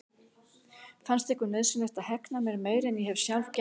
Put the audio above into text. Fannst ykkur nauðsynlegt að hegna mér meira en ég hef sjálf gert?